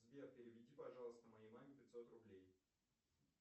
сбер переведи пожалуйста моей маме пятьсот рублей